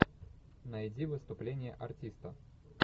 найди выступление артиста